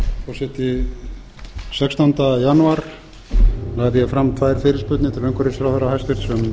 forseti sextánda janúar lagði ég fram tvær fyrirspurnir til umhverfisráðherra hæstvirtur